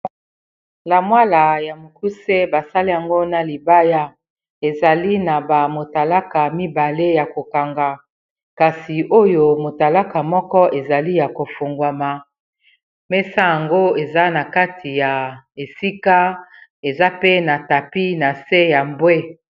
Lamwala ya mokuse basale yango na libaya ezali na bamotalaka mibale ya kokanga kasi oyo motalaka moko ezali ya kofungwama mesa yango eza na kati ya esika eza pe na tapi na se ya mbwe.